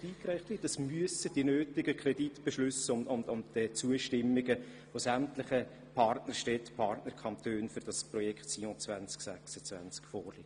Auf diesen Zeitpunkt hin müssen alle notwendigen Kreditbeschlüsse und Zustimmungen von sämtlichen Partnerstädten und Partnerkantonen für das Projekt Sion 2026 vorliegen.